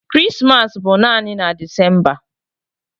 Krismas bụ naanị na Decemba